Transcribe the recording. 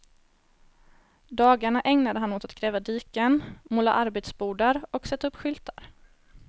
Dagarna ägnade han åt att gräva diken, måla arbetsbodar och sätta upp skyltar.